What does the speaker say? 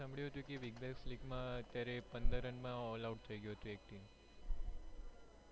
સાંભળ્યું તુ કે big bash league માં અત્યારે પંદર run માં all out થયી ગયું હતુ એક team